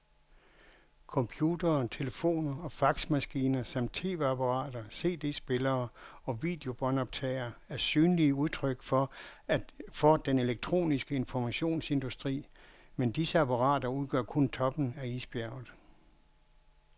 Computere, telefoner og faxmaskiner samt tv-apparater, cd-spillere og videobåndoptagere er synlige udtryk for den elektroniske informationsindustri, men disse apparater udgør kun toppen af isbjerget.